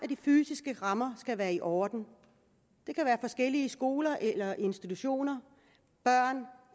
de fysiske rammer være i orden det kan være forskellige skoler eller institutioner